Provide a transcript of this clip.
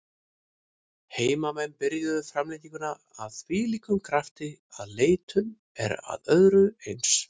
Heimamenn byrjuðu framlenginguna af þvílíkum krafti að leitun er að öðru eins.